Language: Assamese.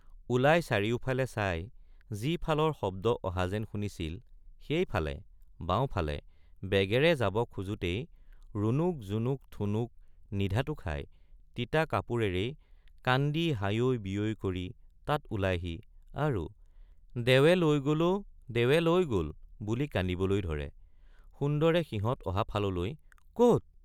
ওলায় চাৰিওফালে চাই যি ফালৰ শব্দ অহা যেন শুনিছিল সেই ফালে বাওঁফালে বেগেৰে যাব খোজাতেই ৰুণক জুনুক ঠুনুক নিধাতু খাই তিতা কাপোৰেৰেই কান্দি হায়ৈ বিয়ৈ কৰি তাত ওলাইহি আৰু দেৱে লৈ গল অ দেৱে লৈ গল বুলি কান্দিবলৈ ধৰে সুন্দৰে সিহঁত অহা ফাললৈ কত?